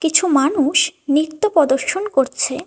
কিছু মানুষ নৃত্য প্রদর্শন করছে।